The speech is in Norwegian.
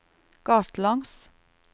gatelangs